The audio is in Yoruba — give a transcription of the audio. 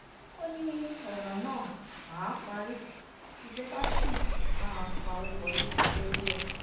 ó ní ọ̀nà náà màá parí ìjọba ṣì máa pawọ́ wọlé lórí ẹ̀